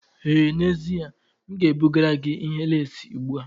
Ee n'ezie, m ga-ebugara gị ihe leesị ugbu a.